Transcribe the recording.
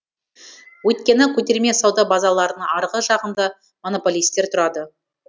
өйткені көтерме сауда базалардың арғы жағында монополистер тұрады